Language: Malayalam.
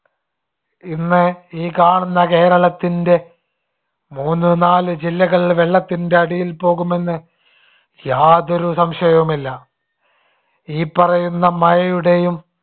ഇന്ന് ഈ കാണുന്ന കേരളത്തിന്റെ മൂന്നു നാല് ജില്ലകൾ വെള്ളത്തിന്‍ടെ അടിയിൽ പോകുമെന്ന് യാതൊരു സംശയവുമില്ല. ഈ പറയുന്ന മഴയുടെയും